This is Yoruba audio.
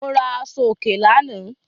Mo ra aṣọòkè lánàá.